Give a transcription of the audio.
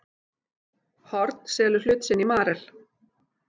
Horn selur hlut sinn í Marel